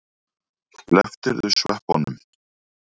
Slepptirðu sveppunum?